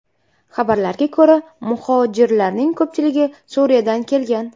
Xabarlarga ko‘ra, muhojirlarning ko‘pchiligi Suriyadan kelgan.